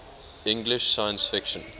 english science fiction